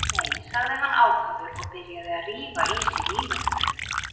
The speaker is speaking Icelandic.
Nei, sagði hann ákafur og byrjaði að rífa í sig vínarbrauð.